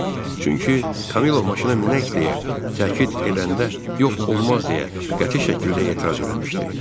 Çünki Kamilo maşına minək deyə təkid edəndə yox olmaz deyə qəti şəkildə etiraz eləmişdi.